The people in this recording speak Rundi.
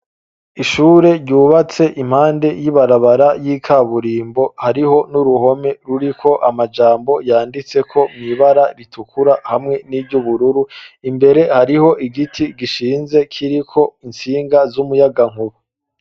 Ishure ryubatse impande y'ibarabara y'ikaburimbo hariho n'uruhome ruriko amajambo yanditse ko mwibara ritukura hamwe n'ibyubururu imbere hariho igiti gishinze kiriko insinga z'umuyagankubu.